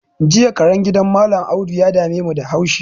Jiya karen gidan mallam audu ya damemu da haushi